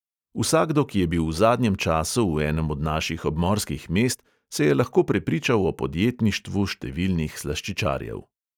Vsakdo, ki je bil v zadnjem času v enem od naših obmorskih mest, se je lahko prepričal o podjetništvu številnih slaščičarjev.